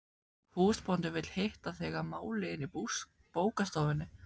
Húsbóndinn vill hitta þig að máli inni í bókastofunni.